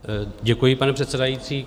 Děkuji, pane předsedající.